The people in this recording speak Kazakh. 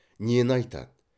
нені айтады